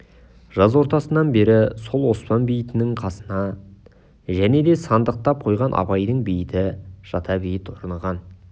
жаз ортасынан бері сол оспан бейітінің қасына және де сандықтап қойған абайдың бейіті жада бейіт орнаған